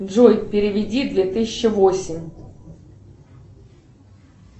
джой переведи две тысячи восемь